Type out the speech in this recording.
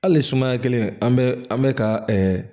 Hali sumaya kelen an bɛ an bɛ ka